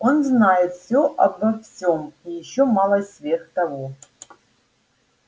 он знает всё обо всём и ещё малость сверх того